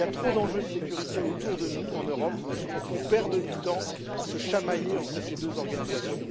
Il y a trop d'enjeux de sécurité autour de nous en Europe pour qu'on perde du temps à se chamailler entre ces deux organisations.